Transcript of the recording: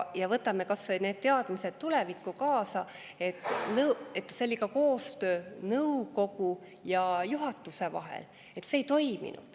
Ja võtame tulevikku kaasa kas või need teadmised, et seal ei toiminud ka koostöö nõukogu ja juhatuse vahel.